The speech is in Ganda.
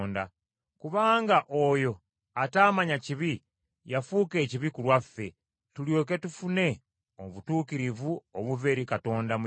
Kubanga oyo ataamanya kibi, yafuuka ekibi ku lwaffe, tulyoke tufune obutuukirivu obuva eri Katonda mu Yesu.